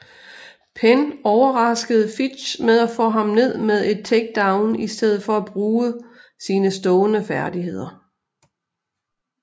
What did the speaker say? Penn overraskede Fitch med at få ham ned med et takedown i stedet for at bruge sine stående færdigheder